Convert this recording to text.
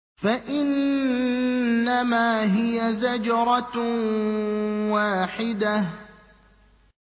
فَإِنَّمَا هِيَ زَجْرَةٌ وَاحِدَةٌ